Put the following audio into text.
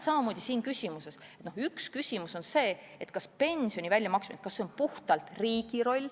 Üks küsimus on see, kas pensioni maksmine on puhtalt riigi roll.